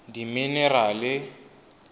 dimenerale